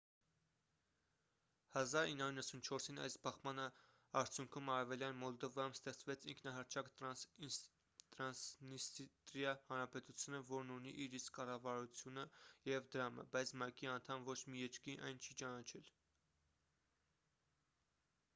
1994-ին այս բախման արդյունքում արևելյան մոլդովայում ստեղծվեց ինքնահռչակ տրանսնիստրիա հանրապետությունը որն ունի իր իսկ կառավարությունը և դրամը բայց մակ-ի անդամ ոչ մի երկրի այն չի ճանաչել